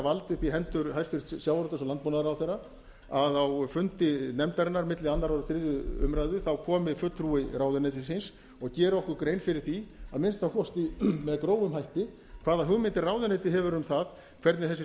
í hendur hæstvirtum sjávarútvegs og landbúnaðarráðherra að á fundi nefndarinnar milli annars og þriðja umræða komi fulltrúi ráðuneytisins og geri okkur grein fyrir því að minnsta kosti með grófum hætti hvaða hugmyndir ráðuneytið hefur um það hvernig þessi